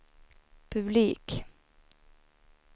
publik